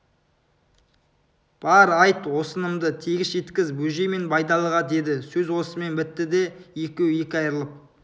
бар айт осынымды тегіс жеткіз бөжей мен байдалыға деді сөз осымен бітті де екеуі екі айрылып